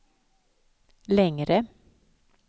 längre